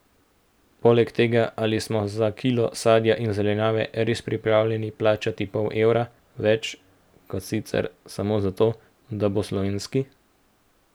Poleg tega, ali smo za kilo sadja in zelenjave res pripravljeni plačati pol evra več, kot sicer, samo zato, da bo slovenski?